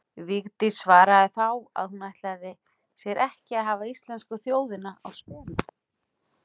Vigdís svaraði þá að hún ætlaði sér ekki að hafa íslensku þjóðina á spena.